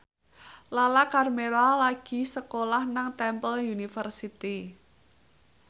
Lala Karmela lagi sekolah nang Temple University